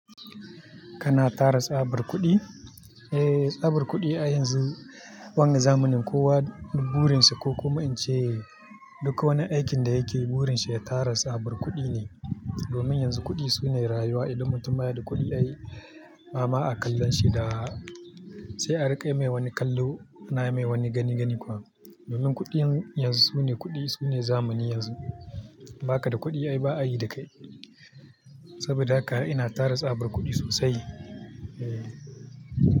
Kana tada tsabar kuɗi? Eh, tsabar kuɗi a yanzu wannan zamanin kowa burin sa ko kuma in ce duka wani aikin da yake yi burin shi ya tara tsabar kuɗi ne. Domin yanzu kuɗi sune rayuwa idan mutum ba ya da kuɗi ai bama a kallon shi da sai a riƙe mai wani kallo na mai wani gani-gani kuwa. Domin kuɗi yanzu sune kuɗi sune zamani yanzu ba ka da kuɗi ai ba a yi da kai. Saboda haka ina tara tsabar kuɗi sosai eh.